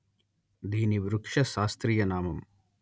దీని వృక్ష శాస్త్రీయ నామం